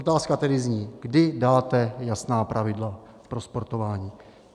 Otázka tedy zní, kdy dáte jasná pravidla pro sportování.